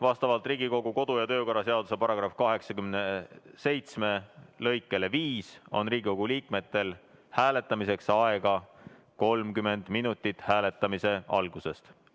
Vastavalt Riigikogu kodu- ja töökorra seaduse § 87 lõikele 5 on Riigikogu liikmetel hääletamiseks aega 30 minutit hääletamise algusest.